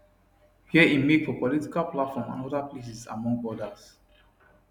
wia im make for political platform and oda places among odas